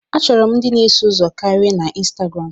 Achọrọ m ndị na-eso ụzọ karịa na Instagram.